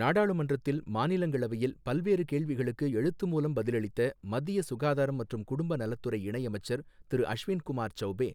நாடாளுமன்றத்தில் மாநிலங்களவையில் பல்வேறு கேள்விகளுக்கு எழுத்து மூலம் பதிலளித்த மத்திய சுகாதாரம் மற்றும் குடும்ப நலத்துறை இணை அமைச்சர் திரு அஷ்வின் குமார் சௌபே,